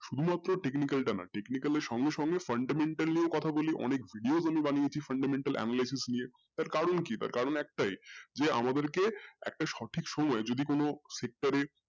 শুধু technical টা না technical এর সঙ্গে সঙ্গে fundamental নিয়ে কোথা বললেও অনেক ইউ ইয়ে গুলি বানিয়েছি fundamental analysis গুলি কারন কি দরকার কারন একটাই যে আমাদেরকে একটা সঠিক সময়ে যদি কোনো sector এ